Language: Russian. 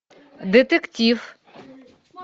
детектив